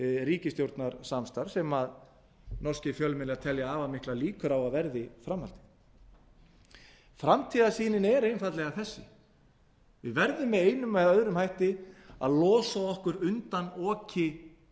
ríkisstjórnarsamstarf sem norskir fjölmiðlar telja afar miklar líkur á að verði framhaldið framtíðarsýnin er einfaldlega þessi við verðum með einum eða öðrum hætti að losa okkur undan oki